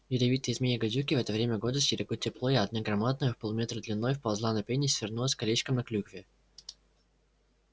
ядовитые змеи-гадюки в это время года стерегут тепло и одна громадная в полметра длиной вползла на пень и свернулась колечком на клюкве